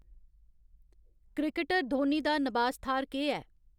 Cricketer Dhoni दा नबास थाह्र केह् ऐ ?